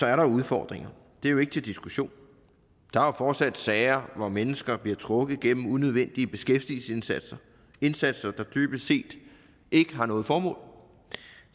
er der udfordringer det er jo ikke til diskussion der er fortsat sager hvor mennesker bliver trukket gennem unødvendige beskæftigelsesindsatser indsatser der dybest set ikke har noget formål